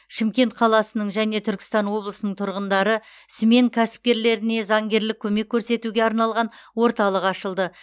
шымкент қаласының және түркістан облысының тұрғындары смен кәсіпкерлеріне заңгерлік көмек көрсетуге арналған орталық ашылды